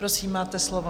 Prosím, máte slovo.